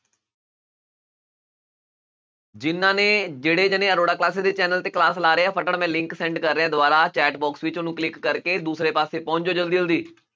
ਜਿਹਨਾਂ ਨੇ ਜਿਹੜੇ ਜਾਣੇ ਅਰੋੜਾ classes ਦੇ channel ਤੇ class ਲਾ ਰਹੇ ਆ ਮੈਂ link send ਕਰ ਰਿਹਾਂ ਦੁਆਰਾ chat box ਵਿੱਚ ਉਹਨੂੰ click ਕਰਕੇ ਦੂਸਰੇ ਪਾਸੇ ਪਹੁੰਚ ਜਾਓ ਜ਼ਲਦੀ ਜ਼ਲਦੀ